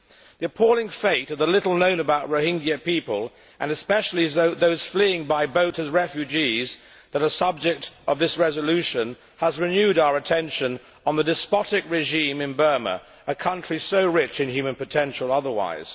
The appalling fate of the little known about Rohingya people, especially those fleeing by boat as refugees that are the subject of this resolution, has renewed our attention on the despotic regime in Burma, a country so rich in human potential otherwise.